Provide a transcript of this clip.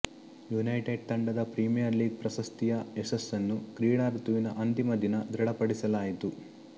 United ತಂಡದ Premier League ಪ್ರಶಸ್ತಿಯ ಯಶಸ್ಸನ್ನು ಕ್ರೀಡಾ ಋತುವಿನ ಅಂತಿಮ ದಿನ ದೃಢ ಪಡಿಸಲಾಯಿತು